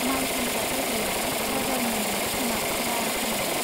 माय फानग्रा जायगाया बाजारनिनो सोनाब खोला खनायाव।